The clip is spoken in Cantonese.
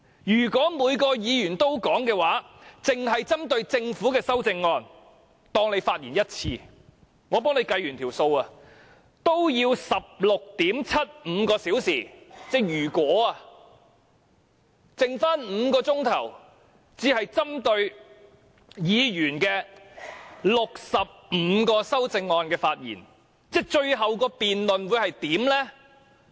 如果每位議員都發言，單單針對政府的修正案，每位議員發言一次，我計算過，這樣也需要 16.75 小時，只餘下5小時可就議員的65項修正案發言，最後這項辯論會怎樣呢？